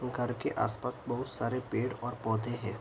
घर के आस-पास बहुत सारे पेड़ और पौधे हैं।